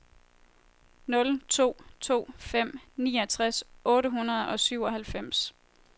nul to to fem niogtres otte hundrede og syvoghalvfems